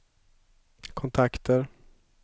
kontakter